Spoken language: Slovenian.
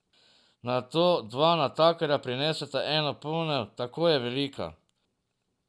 Nato dva natakarja prineseta eno ponev, tako je velika.